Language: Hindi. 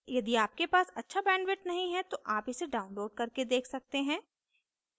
यदि आपके पास अच्छी bandwidth नहीं है तो आप इसे download करके देख सकते हैं